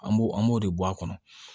An b'o an b'o de bɔ a kɔnɔ